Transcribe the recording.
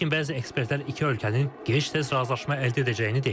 Lakin bəzi ekspertlər iki ölkənin gec-tez razılaşma əldə edəcəyini deyir.